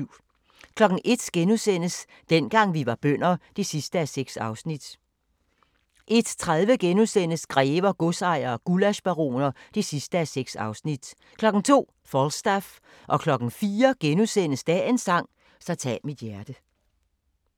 01:00: Dengang vi var bønder (6:6)* 01:30: Grever, godsejere og gullaschbaroner (6:6)* 02:00: Falstaff 04:00: Dagens sang: Så tag mit hjerte *